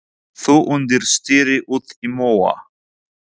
Þú undir stýri út í móa.